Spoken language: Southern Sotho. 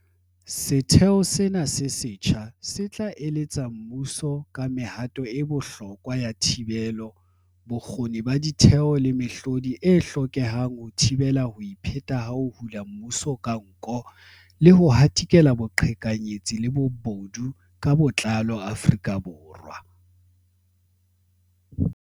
Setheo sena se setjha se tla eletsa mmuso ka mehato e bohlokwa ya thibelo, bokgoni ba ditheo le mehlodi e hlokehang ho thibela ho ipheta ha ho hula mmuso ka nko le ho hatikela boqhekanyetsi le bobodu ka botlalo Afrika Borwa.